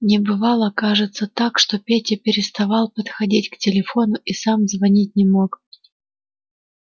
не бывало кажется так что петя переставал подходить к телефону и сам звонить не мог